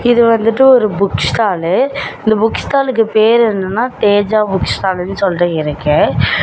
இது வந்துட்டு ஒரு புக் ஸ்டால்லு இந்த புக் ஸ்டாளுக்கு பேர் என்னன்னா தேஜா புக் ஸ்டால்னு சொல்ட்டு இருக்கு.